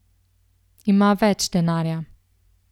Ima več denarja.